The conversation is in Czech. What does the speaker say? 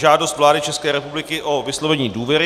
Žádost vlády České republiky o vyslovení důvěry